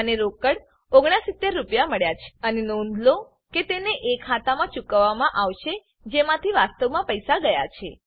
મને રોકડ ૬૯ રૂપિયા મળ્યા છે અને નોંધ લો કે તેને એ ખાતામાં ચુકવવામાં આવશે જેમાંથી વાસ્તવમાં પૈસા ગયા છે